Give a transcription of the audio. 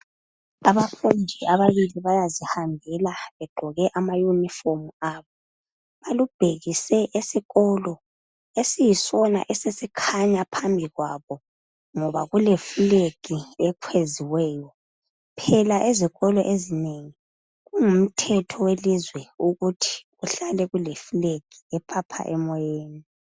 abafundi ababili bayazihambela begqoke ama uniform abo balubhekise esikolo esiyisona esesikhanya phambi kwabo ngoba kule flag ekweziweyo phela ezikolo ezinengi kungumthetho welizwe ukuthi kuhlale kuleflag ephaphayo emoyeni